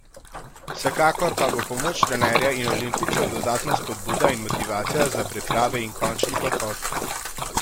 Vsekakor pa bo pomoč trenerja in olimpijcev dodatna spodbuda in motivacija za priprave in končni pohod.